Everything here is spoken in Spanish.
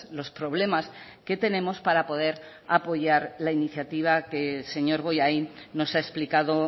los problemas que tenemos para poder apoyar la iniciativa que el señor bollain nos ha explicado